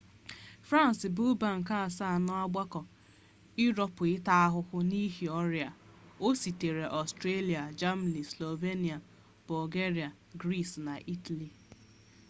frans bụ mba nke asaa n'ọgbakọ iroopu ịta ahụhụ n'ihi ọrịa a osotere ọstrịa jemani slovenia bọlgeria gris na itali